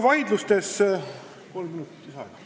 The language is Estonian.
Palun kolm minutit lisaaega!